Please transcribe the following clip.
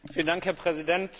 Herr Präsident!